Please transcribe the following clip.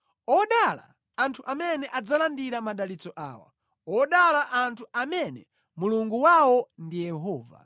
Odala anthu amene adzalandira madalitso awa; odala anthu amene Mulungu wawo ndi Yehova.